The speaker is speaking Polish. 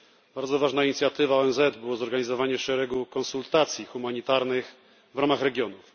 Bardzo ważną inicjatywą ONZ było zorganizowanie szeregu konsultacji humanitarnych w ramach regionów.